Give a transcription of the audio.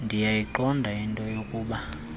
ndiyayiqonda into yokuba